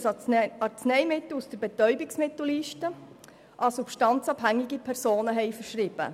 Dormicum ist ein Arzneimittel, welches sich auf der Betäubungsmittelliste befindet.